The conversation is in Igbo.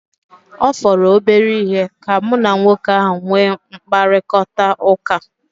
Ọ fọrọ obere ihe ka mụ na nwoke ahu nwee mkparịkọtaụka